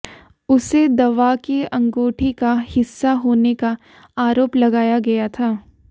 उसे दवा की अंगूठी का हिस्सा होने का आरोप लगाया गया था